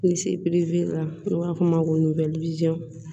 Ni se piri la n'u b'a fɔ o ma ko